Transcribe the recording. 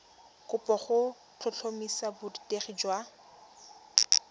kopo go tlhotlhomisa borutegi jwa